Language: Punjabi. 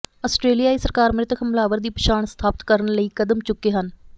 ਆਸਟਰੇਲੀਆਈ ਸਰਕਾਰ ਮ੍ਰਿਤਕ ਹਮਲਾਵਰ ਦੀ ਪਛਾਣ ਸਥਾਪਤ ਕਰਨ ਲਈ ਕਦਮ ਚੁੱਕੇ ਹਨ